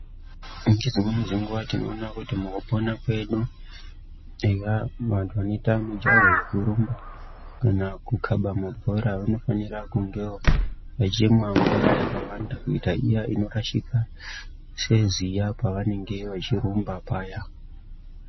Ngedzimweni dzenguwa tinoona kuti mukupona kwedu eya antu anoita mijaho yekurumba kana kukaba mabhora vanofanira kungewo vechimwa mvura yakawanda kuitira iya inorashika seziya pavanenge vachirumba paya.